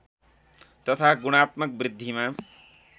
तथा गुणात्मक वृद्धिमा